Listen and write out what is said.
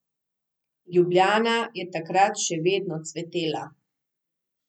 Ljubljana je takrat še vedno cvetela.